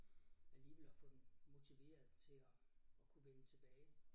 Alligevel at få dem motiveret til at at kunne vende tilbage